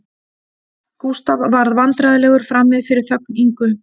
Gústaf varð vandræðalegur frammi fyrir þögn Ingu